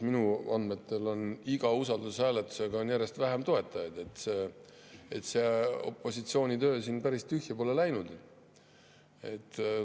Minu andmetel on iga usaldushääletusega järjest vähem toetajaid, see opositsiooni töö siin päris tühja pole läinud.